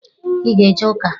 I na-eje uka?